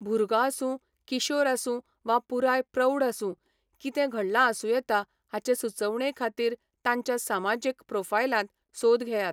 भुरगो आसूं, किशोर आसूं वा पुराय प्रौढ आसूं, कितें घडलां आसूं येता हाचे सुचोवणे खातीर तांच्या समाजीक प्रोफायलांत सोद घेयात.